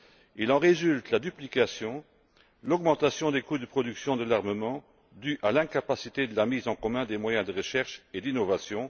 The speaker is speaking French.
Il en résulte la duplication et l'augmentation des coûts de production de l'armement dues à l'incapacité de la mise en commun des moyens de recherche et d'innovation.